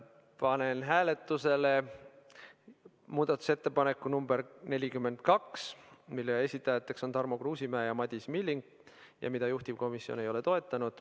Panen hääletusele muudatusettepaneku nr 42, mille on esitanud Tarmo Kruusimäe ja Madis Milling ning mida juhtivkomisjon ei ole toetanud.